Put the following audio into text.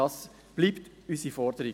Das bleibt unsere Forderung.